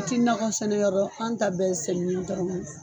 A ti nagɔ sɛnɛ labɔ, an ta bɛɛ sɛnɛli dɔrɔn